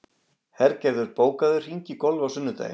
Hergerður, bókaðu hring í golf á sunnudaginn.